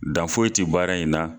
Dan foye ti baara in na